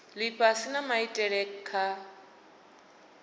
lifhasi na maitele a kha